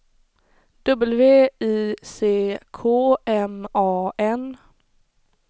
W I C K M A N